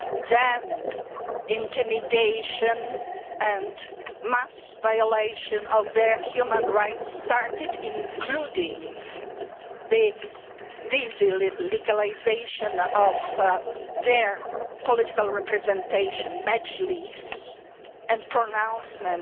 Then intimidation and mass violation of their human rights started, including the delegalisation of their political representation, the Mejlis, and the pronouncement